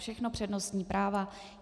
Všechno přednostní práva.